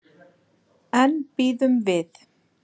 En bíðum við.